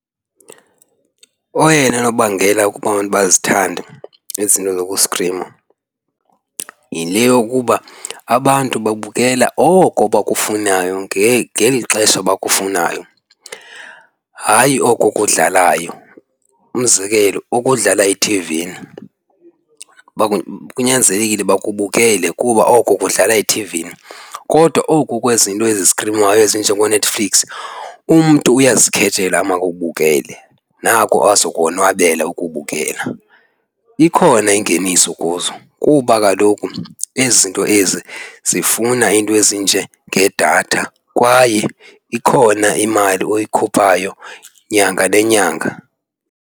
Oyena nobangela ukuba abantu bazithande ezi zinto zokustrima yile yokuba abantu babukela oko abakufunayo ngeli xesha bakufunayo, hayi oko kudlalayo. Umzekelo okudlala ethivini kunyanzelekile uba kubukelwe kuba oko kudlala ethivini. Kodwa oko kwezinto ezistrinywayo ezinjengooNetflix umntu uyazikhethela amakakubukele nako azokonwabela ukubukela. Ikhona ingeniso kuzo kuba kaloku ezi zinto ezi zifuna iinto ezinjengedatha kwaye ikhona imali oyikhuphayo nyanga nenyanga.